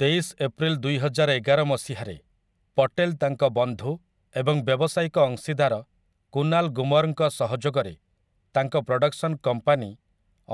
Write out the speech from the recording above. ତେଇଶ ଏପ୍ରିଲ ଦୁଇହଜାରଏଗାର ମସିହାରେ, ପଟେଲ୍ ତାଙ୍କ ବନ୍ଧୁ ଏବଂ ବ୍ୟବସାୟିକ ଅଂଶୀଦାର କୁନାଲ୍ ଗୁମର୍‌ଙ୍କ ସହଯୋଗରେ ତାଙ୍କ ପ୍ରଡକ୍ସନ୍ କମ୍ପାନୀ